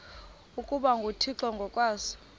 ukuba nguthixo ngokwaso